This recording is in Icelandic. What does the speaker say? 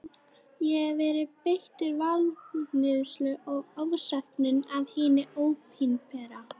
Ég hef verið beittur valdníðslu og ofsóknum af hinu opinbera.